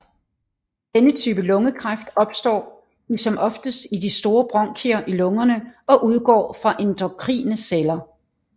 Denne type lungekræft opstår i som oftest i de større bronkier i lungerne og udgår fra endokrine celler